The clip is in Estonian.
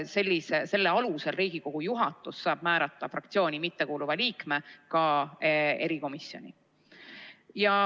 Selle alusel saab Riigikogu juhatus määrata fraktsiooni mittekuuluva liikme ka erikomisjoni.